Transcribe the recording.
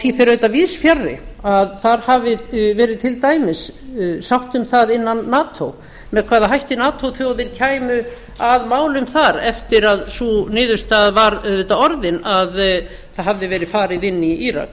því fer auðvitað víðs fjarri að þar hafi verið til dæmis sátt um það innan nato með hvaða hætti nato þjóðir kæmu að málum þar eftir að sú niðurstaða var auðvitað orðin að það hafði verið farið inn í írak